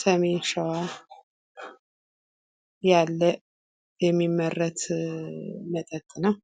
ሰሜን ሸዋ ያለ የሚመረት መጠጥ ነው።